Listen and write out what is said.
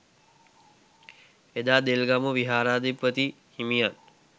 එදා දෙල්ගමුව විහාරාධිපති හිමියන්